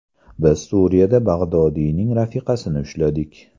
Biz Suriyada Bag‘dodiyning rafiqasini ushladik.